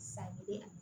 Sa bi